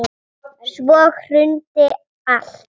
Svo hrundi allt.